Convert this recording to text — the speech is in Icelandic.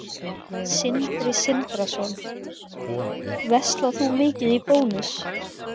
Sindri Sindrason: Verslar þú mikið í Bónus?